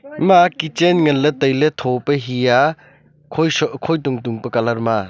ima kichen ngan ang ley tho pe he a khoi khoi tung tung pe colour a.